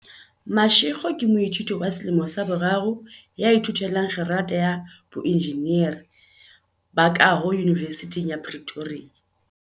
Mashego ke moithuti wa selemo sa boraro ya ithute lang kgerata ya boenjinere ba kaho Yunivesithing ya Pretoria.